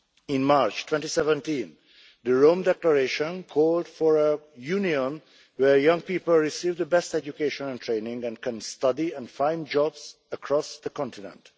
In March 2017, the Rome Declaration called for a Union where young people receive the best education and training and can study and find jobs across the continent.